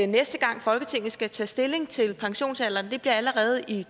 næste gang folketinget skal tage stilling til pensionsalderen og det bliver allerede i